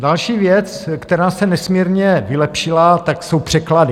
Další věc, která se nesmírně vylepšila, tak jsou překlady.